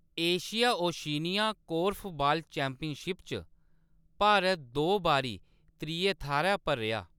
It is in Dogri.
एशिया-ओशिनिया कोर्फबॉल चैंपियनशिप च भारत दो बारी त्रिये थाह्‌‌‌रै पर रेहा।